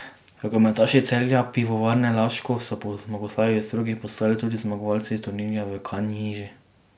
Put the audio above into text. Rokometaši Celja Pivovarne Laško so po zmagoslavju v Strugi, postali tudi zmagovalci turnirja v Kanjiži.